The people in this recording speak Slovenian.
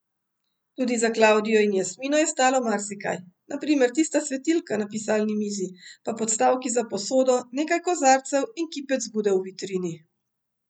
Tudi za Klavdijo in Jasmino je ostalo marsikaj, na primer tista svetilka na pisalni mizi, pa podstavki za posodo, nekaj kozarcev in kipec Bude v vitrini.